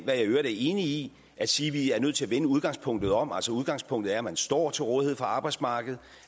jeg i øvrigt er enig i at sige at vi er nødt til at vende udgangspunktet om altså udgangspunktet er at man står til rådighed for arbejdsmarkedet